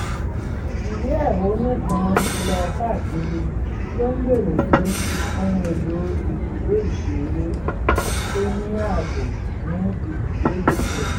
ìwé ẹ̀hónú kan lọ káàkiri tó ń béèrè fún ohun èlò ibùdó ìṣeré tó ní ààbò ní ibùdó ìbílẹ̀